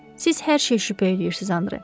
Siz hər şeyə şübhə eləyirsiz, Andre.